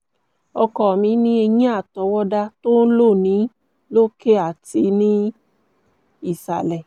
ọkọ mi ní eyín àtọwọ́dá tó lò ní lókè àti ní ìsàlẹ̀